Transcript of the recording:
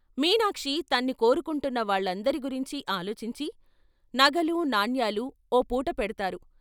మీనాక్షి తన్ని కోరుకుంటున్న వాళ్ళందరి గురించి ఆలోచించి ' నగలూ నాణ్యాలూ ఓ పూట పెడ్తారు.